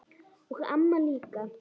Og amma líka.